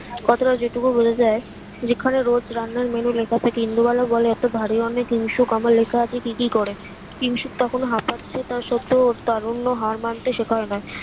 কথাটা যে টুকু বোঝা যাই যেখানে রোজ রান্নার menu লেখা থাকে ইন্দোবালার গলায় এতো ভারী অনেক কিংশুক কামে লেখা আছে কি কি করে কিংশুক তখুন হাপাচ্ছে তা সত্ত্বেও তার অন্য হার মানতে শেখায় না